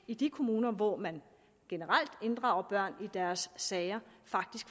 i de kommuner hvor man generelt inddrager børn i deres sager